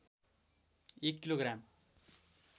एक kilo gram